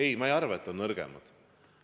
Ei, ma ei arva, et nad on nõrgemad.